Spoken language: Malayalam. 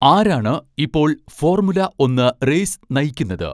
ആരാണ് ഇപ്പോൾ ഫോർമുല ഒന്ന് റേസ് നയിക്കുന്നത്